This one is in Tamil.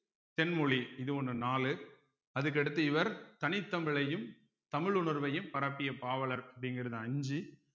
தென்மொழி இது ஒண்ணு நாலு அதுக்கடுத்து இவர் தனித் தமிழையும் தமிழ் உணர்வையும் பரப்பிய பாவலர் அப்படிங்கறது அஞ்சு